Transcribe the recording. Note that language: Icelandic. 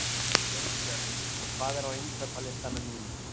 Jónbjörn, hvað er á innkaupalistanum mínum?